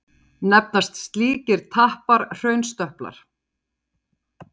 Nefnast slíkir tappar hraunstöplar.